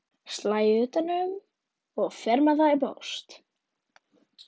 Slæ utan um og fer með það í póst.